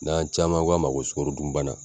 N'an caman ko a ma ko sugɔro dun bana